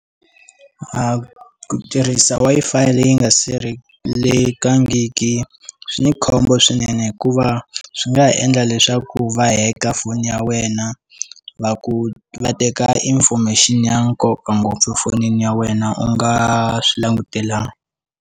A ku tirhisa Wi-Fi leyi nga sirhelelekangiki swi ni khombo swinene hikuva swi nga endla leswaku va hacker foni ya wena va ku va teka information ya nkoka ngopfu fonini ya wena u nga swi langutelangi.